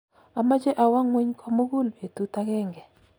amoche awo ngony komugul betut agenge